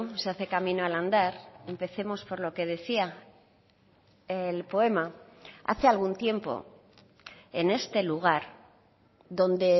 se hace camino al andar empecemos por lo que decía el poema hace algún tiempo en este lugar donde